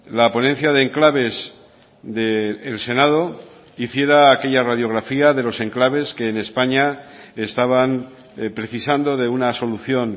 la ponencia de enclaves de el senado hiciera aquella radiografía de los enclaves que en españa estaban precisando de una solución